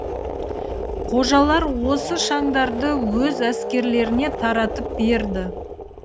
қожалар осы шаңдарды өз әскерлеріне таратып берді